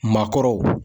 Maakɔrɔw